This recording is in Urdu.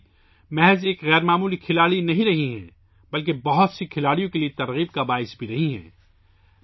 متالی نہ صرف ایک غیر معمولی کھلاڑی رہی ہیں، بلکہ بہت سے کھلاڑیوں کے لیے ایک تحریک بھی رہی ہیں